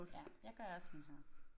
Ja jeg gør også sådan her